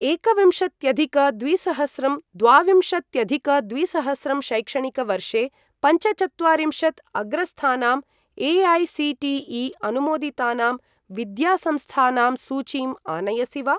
एकविंशत्यधिक द्विसहस्रं द्वाविंशत्यधिक द्विसहस्रं शैक्षणिकवर्षे पञ्चचत्वारिंशत् अग्रस्थानां ए.ऐ.सी.टी.ई. अनुमोदितानां विद्यासंस्थानां सूचीं आनयसि वा?